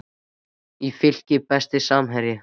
í Fylki Besti samherjinn?